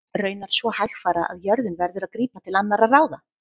Raunar svo hægfara að jörðin verður að grípa til annarra ráða.